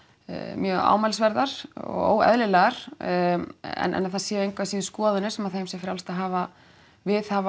mjög ámælisverðar og óeðlilegar en að það séu engu að síður skoðanir sem þeim sé frjálst að hafa viðhafa